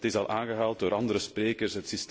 Het is al aangehaald door andere sprekers.